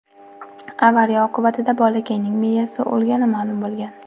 Avariya oqibatida bolakayning miyasi o‘lgani ma’lum bo‘lgan.